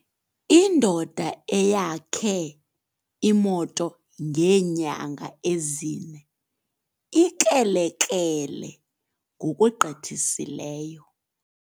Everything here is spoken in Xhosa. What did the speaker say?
Indoda eyakhe imoto ngeenyanga ezine ikrelekrele ngokugqithiseleyo.